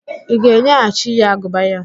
Ị ga-enyeghachi ya agụba ya?